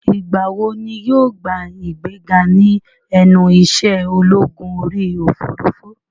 Ìgbà wo ni yóò gba ìgbéga ní ẹnu ìṣẹ́ ológun orí òfurufú?